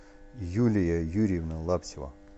юлия юрьевна лаптева